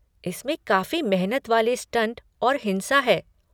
इसमें काफी मेहनत वाले स्टंट और हिंसा है।